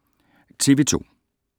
TV 2